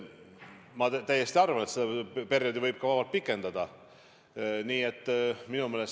Ma täiesti arvan, et seda perioodi võib vabalt ka pikendada.